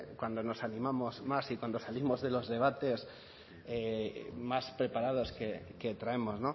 cuando nos animamos más y cuando salimos de los debates más preparados que traemos